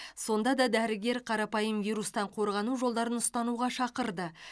сонда да дәрігер қарапайым вирустан қорғану жолдарын ұстануға шақырды